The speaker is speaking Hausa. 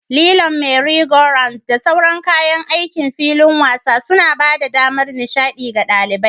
Lilon, merry-go-rounds, da sauran kayan aikin filin wasa suna ba da damar nishaɗi ga ɗalibai.